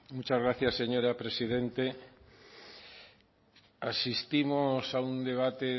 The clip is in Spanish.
gracias señora presidente asistimos a un debate